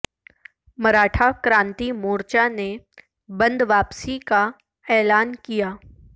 مراٹھا کرانتی مورچہ نے بند واپسی کا اعلان کیا